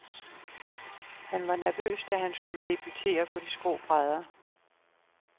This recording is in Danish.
Han var nervøs, da han skulle debutere på de skrå brædder.